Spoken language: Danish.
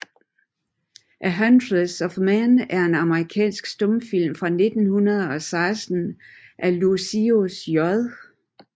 A Huntress of Men er en amerikansk stumfilm fra 1916 af Lucius J